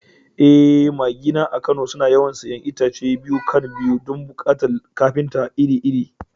Eh, magina a Kano suna yawan siyan itace biyu-kan-biyu don buƙatun kafinta iri-iri.